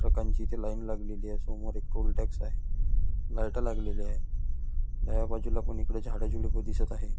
ट्रकांची इथे लाईन लागलेली आहे समोर एक टोल टॅक्स आहे लाईट लागलेली आहे डाव्या बाजूलापण इथे झाडे झुडपे दिसत आहेत.